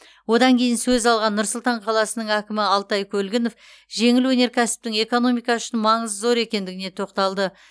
одан кейін сөз алған нұр сұлтан қаласының әкімі алтай көлгінов жеңіл өнеркәсіптің экономика үшін маңызы зор екендігіне тоқталды